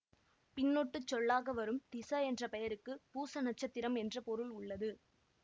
பின்னொட்டுச் சொல்லாக வரும் திஸ என்ற பெயருக்கு பூச நட்சத்திரம் என்ற பொருள் உள்ளது